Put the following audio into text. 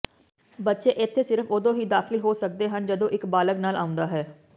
ਬੱਚੇ ਇੱਥੇ ਸਿਰਫ ਉਦੋਂ ਹੀ ਦਾਖਲ ਹੋ ਸਕਦੇ ਹਨ ਜਦੋਂ ਇੱਕ ਬਾਲਗ਼ ਨਾਲ ਆਉਂਦਾ ਹੈ